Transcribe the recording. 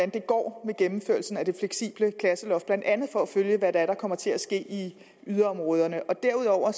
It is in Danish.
det går med gennemførelsen af det fleksible klasseloft blandt andet for at følge hvad det er der kommer til at ske i yderområderne derudover